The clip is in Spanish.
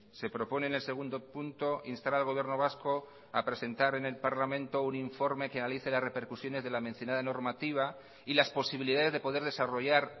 se propone en el segundo punto instar al gobierno vasco a presentar en el parlamento un informe que analice las repercusiones de la mencionada normativa y las posibilidades de poder desarrollar